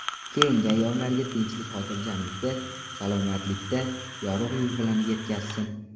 Keyingi ayyomlarga tinchlik-xotirjamlikda, salomatlikda, yorug‘ yuz bilan yetkazsin.